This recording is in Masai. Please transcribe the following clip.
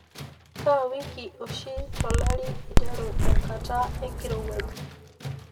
kaa wiki oshi to lari iteru enkata enkirowuaj